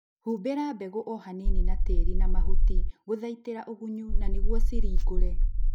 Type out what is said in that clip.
Humbĩra mbegũ o hanini na tĩri na mahuti gũthaitĩra ũgunyu na nĩguo ciringũre